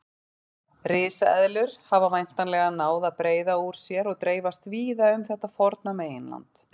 Risaeðlur hafa væntanlega náð að breiða úr sér og dreifast víða um þetta forna meginland.